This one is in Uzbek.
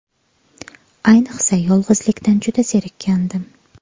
Ayniqsa yolg‘izlikdan juda zerikkandim.